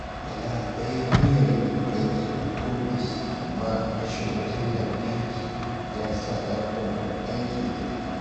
Bala ya yi niyyar yin aiki a ofis, amma rashin wutar lantarki ya sa ya koma aiki daga gida.